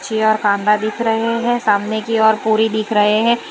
की और कांदा करना दिख रहे हैं सामने की और पूरी दिख रहे हैं।